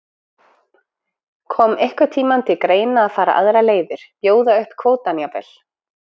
Kom einhvern tímann til greina að fara aðrar leiðir, bjóða upp kvótann jafnvel?